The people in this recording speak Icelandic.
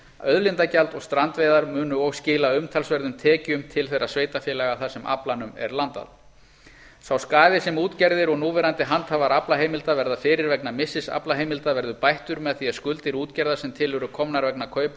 auðlindagjald og strandveiðar munu og skila umtalsverðum tekjum til þeirra sveitarfélaga þar sem aflanum er landað sá skaði sem útgerðir og núverandi handhafar aflaheimilda verða fyrir vegna missis aflaheimilda verður bættur með því að skuldir útgerða sem eru til komnar vegna kaupa á